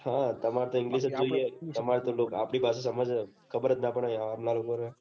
હા તમાર તો English જ જોઈએ તમાર તો આપડી વાત ખબર જ ના પડે